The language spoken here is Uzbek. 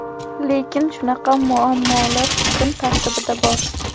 Lekin shunaqa muammolar kun tartibida bor.